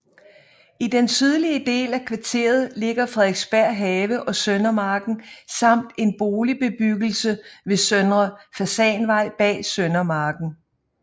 I den sydlige del af kvarteret ligger Frederiksberg Have og Søndermarken samt en boligbebyggelse ved Søndre Fasanvej bag Søndermarken